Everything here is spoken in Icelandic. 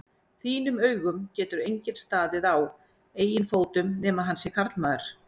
þínum augum getur enginn staðið á eigin fótum nema hann sé karlmaður.